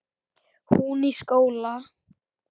Hún í skóla.